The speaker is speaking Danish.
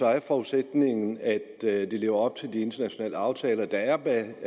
er forudsætningen at at de lever op til de internationale aftaler der er